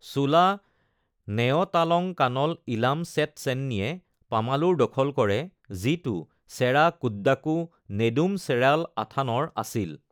চোলা নেয়তালংকানল ইলাম ছেট চেন্নীয়ে পামালুৰ দখল কৰে, যিটো চেৰা কুডাক্কো নেদুম চেৰাল আথানৰ আছিল।